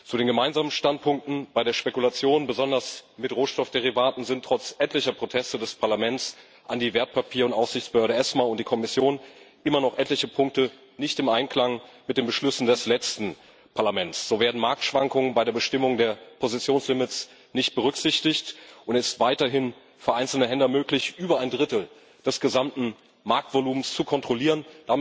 Zu den gemeinsamen Standpunkten Bei der Spekulation besonders mit Rohstoffderivaten sind trotz etlicher Proteste des Parlaments an die Wertpapier und Aufsichtsbehörde ESMA und die Kommission immer noch etliche Punkte nicht im Einklang mit den Beschlüssen des letzten Parlaments. So werden Marktschwankungen bei der Bestimmung der Positionslimits nicht berücksichtigt, und es ist vereinzelten Händlern weiterhin möglich, über ein Drittel des gesamten Marktvolumens zu kontrollieren.